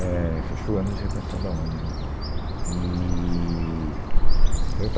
éh, Acho que foi o ano de reconstrução da UNE, né, eee. Eu estava